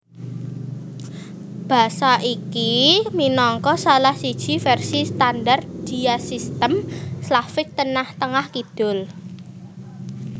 Basa iki minangka salah siji vèrsi standar diasistem Slavik Tengah kidul